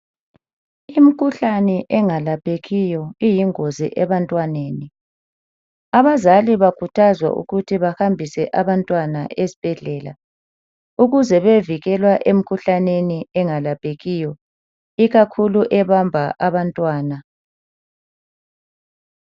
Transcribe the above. Imkhuhlane engalaphekiyo iyingozi ebantwaneni. Abazali bakhuthazwa ukuthi bahambise abantwana esbhedlela ukuze beyevikelwa emkhuhlaneni engelaphekiyo ikakhulu ebamba abantwana.